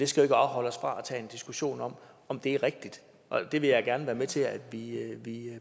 skal afholde os fra at tage en diskussion om om det er rigtigt og den vil jeg gerne være med til at vi